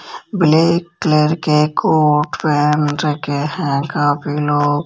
black colour के coat pant रखे हैं काफी लोग--